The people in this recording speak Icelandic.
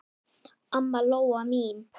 Amma Lóa mín.